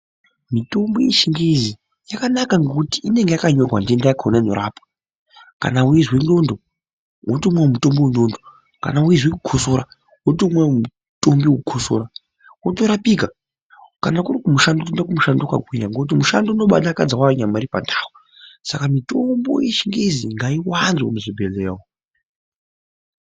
Mitombo yechingezi yakanaka ngekuti inenge yakanyorwa ntenda yakona inorapwa kana weizwa ndxondo wotomwawo mutombo wendxondo kana weizwa kukosora wotomwawo mutombo wekukosora wotorapika kana kuri kumushando wotoenda kumushando wakagwinya ngokuti ushando unombadakadza wayo nyama iri pandau saka mutombo yechingezi ngaiwande muzvibhedhlera umu.